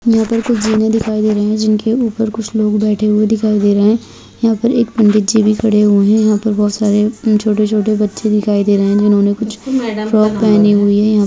यहाँ पर कुछ जीने दिखाई दे रही हैं जिनके ऊपर कुछ लोग बैठे हुए दिखाई दे रहे हैं | यहाँ पर एक पंडित जी भी खड़े हुए हैं | यहाँ पर बहुत सारे छोटे छोटे बच्चे दिखाई दे रहे हैं जिन्होंने कुछ फ्रॉक पहनी हुइ है |